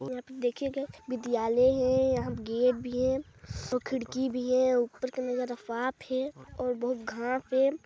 यहाँ पे देखियेग विद्यालय है यहाँ गेट है और खिड़की भी है उपर का नजारा साफ है और बहु--